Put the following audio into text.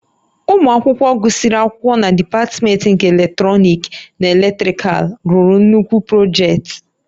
Ụmụ akwụkwọ gụsịrị akwụkwọ na dipatmentị nke Eletrọnịkị na Elektrikal lụrụ nnukwu projektị